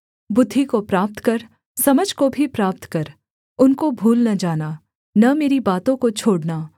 बुद्धि को प्राप्त कर समझ को भी प्राप्त कर उनको भूल न जाना न मेरी बातों को छोड़ना